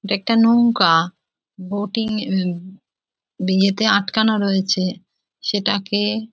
এটা একটা নৌকা বোটিং এ আটকানো রয়েছে সেটাকে --